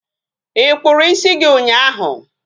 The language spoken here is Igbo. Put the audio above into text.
Ị kpụrụ ịsị gị ụnyaahụ?